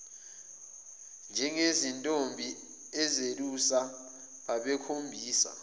njengezintombi ezelusa babekhombisa